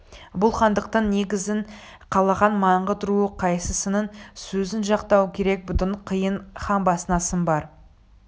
бұл хандықтың негізін қалаған маңғыт руы қайсысының сөзін жақтау керек бұдан қиын хан басына сын бар